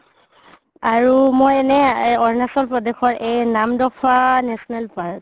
আৰু মই এনে আৰুণাচল প্ৰদেশৰ এই নামদফা national park